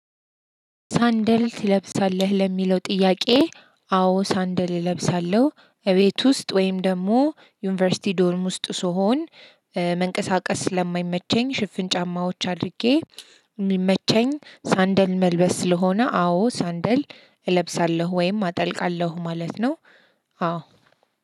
ሳንደል ትለብሳለህ ለሚለው ጥያቄ አዎ ሳንደል እለብሳለሁ እቤት ውስጥ ወይም ደግሞ ዩኒቨርሲቲ ዶርም ውስጥ ስሆን መንቀሳቀስ ስለማይመቸኝ ሽፍን ጫማዎች አድርጌ የሚመቸኝ ሳንደል መልበስ ስለሆነ አዎ ሳንደል እለብሳለሁ ወይም አጠልቃለሁ ማለት ነው። አዎ።